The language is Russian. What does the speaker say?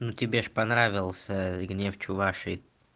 тебе же понравился гнев чувашей